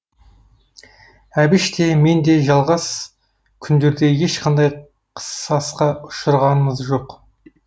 әбіш те мен де жалғас күндерде ешқандай қысасқа ұшырағамыз жоқ